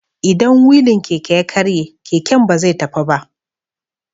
Idan wilin Keke ya karye, keken ba zai tafi ba.